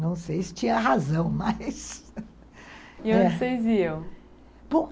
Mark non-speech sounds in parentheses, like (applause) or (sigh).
Não sei se tinha (laughs) razão, mas... E onde vocês iam?